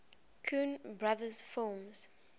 coen brothers films